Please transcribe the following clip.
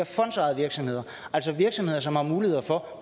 fondsejede virksomheder altså virksomheder som har mulighed for